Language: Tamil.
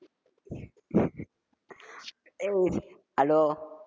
hello